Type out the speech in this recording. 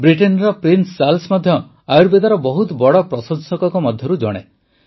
ବ୍ରିଟେନର prince Charles ମଧ୍ୟ ଆୟୁର୍ବେଦର ବହୁତ ବଡ଼ ପ୍ରଶଂସକଙ୍କ ମଧ୍ୟରୁ ଜଣେ